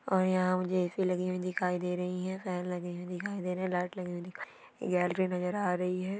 और इहा मूझे ए.सि. लगि हूइ दिखाई दे रही है फेन लगे हैं दिखाई दे रही है लाइट लगे हुए दिखाइ गैलरी नजर आ रही है।